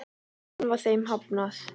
Enn var þeim hafnað.